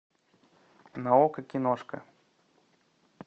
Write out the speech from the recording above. на окко киношка